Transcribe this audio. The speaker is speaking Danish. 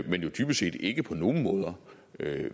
jo dybest set ikke på nogen måde